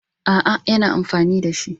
A'a, yana amfani da shi.